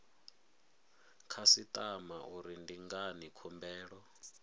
khasitama uri ndi ngani khumbelo